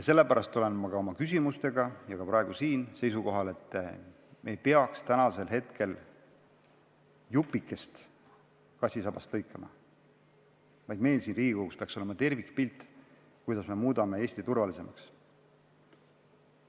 Sellepärast olen ma ka oma küsimustega ja praegu siin seisukohal, et me ei peaks täna lõikama kassisabast jupikest, vaid meil siin Riigikogus peaks olema tervikpilt sellest, kuidas muuta Eesti turvalisemaks.